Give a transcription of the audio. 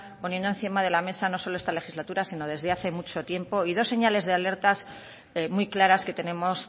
poniendo encima de la mesa no solo esta legislatura sino desde hace mucho tiempo y dos señales de alerta muy claras que tenemos